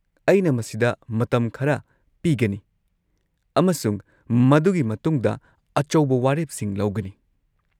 ꯑꯩꯅ ꯃꯁꯤꯗ ꯃꯇꯝ ꯈꯔ ꯄꯤꯒꯅꯤ ꯑꯃꯁꯨꯡ ꯃꯗꯨꯒꯤ ꯃꯇꯨꯡꯗ ꯑꯆꯧꯕ ꯋꯥꯔꯦꯞꯁꯤꯡ ꯂꯧꯒꯅꯤ꯫